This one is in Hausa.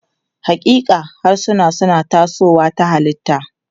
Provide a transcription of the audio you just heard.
Haƙiƙa, harsuna suna tasowa ta halitta.